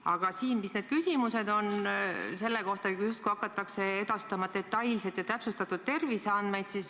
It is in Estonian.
Aga kuulates neid küsimusi, hakataks justkui edastama detailseid ja täpsustatud terviseandmeid.